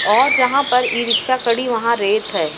और जहां पर इ रिक्शा खड़ी है। वहां रेत है।